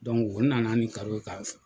u nana ni karo ye ka